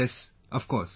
Yes, of course